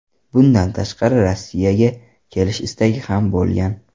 Bundan tashqari Rossiyaga kelish istagi ham bo‘lgan.